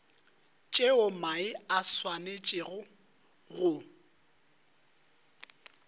tšeo mae a swanetšego go